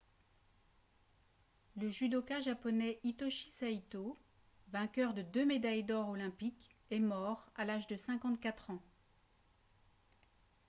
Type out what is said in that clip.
le judoka japonais hitoshi saito vainqueur de deux médailles d'or olympiques est mort à l'âge de 54 ans